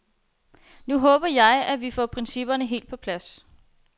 Så håber jeg, at vi får principperne helt på plads.